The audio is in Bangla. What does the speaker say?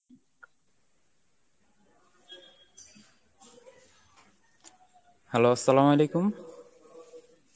hello, Arbi